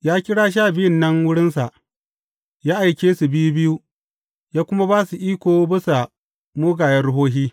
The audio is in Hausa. Ya kira Sha Biyun nan wurinsa, ya aike su biyu biyu, ya kuma ba su iko bisa mugayen ruhohi.